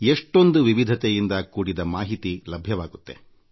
ಎಷ್ಟೊಂದು ವಿಸ್ತೃತ ಆಯಾಮಗಳಿಂದ ಕೂಡಿದ ಮಾಹಿತಿ ದೊರಕುತ್ತದೆ